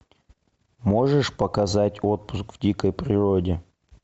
можешь показать отпуск в дикой природе